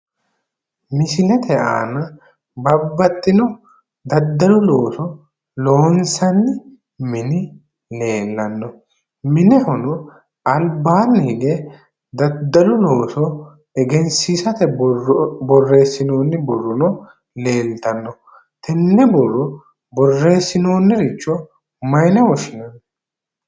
Misilete aana babbaxxino daddalu looso loonsanni mini leellanno. Minehono albaanni hige daddalu looso egensiisate borro borreessinoonni borrono leeltanno. Tenne borro borreessinoonniricho mayine woshshinanni?